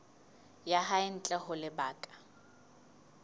ya hae ntle ho lebaka